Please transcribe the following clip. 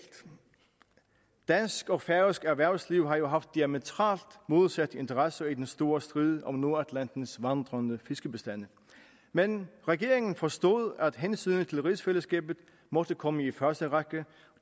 dansk og færøsk erhvervsliv har jo haft diametralt modsatte interesser i den store strid om nordatlantens vandrende fiskebestande men regeringen forstod at hensynet til rigsfællesskabet måtte komme i første række